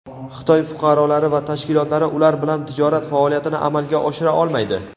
Xitoy fuqarolari va tashkilotlari ular bilan tijorat faoliyatini amalga oshira olmaydi.